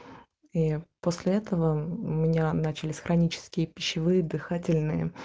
и после этого у меня начались хронические пищевые дыхательные